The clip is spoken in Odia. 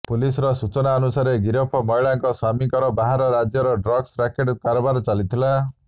ପୋଲିସର ସୂଚନା ଅନୁସାରେ ଗିରଫ ମହିଳାଙ୍କ ସ୍ବାମୀଙ୍କର ବାହାର ରାଜ୍ୟରେ ଡ୍ରଗ୍ସ ରାକେଟ୍ କାରବାର ଚାଲିଥିଲା